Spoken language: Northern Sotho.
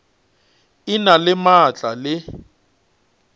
e na le maatla le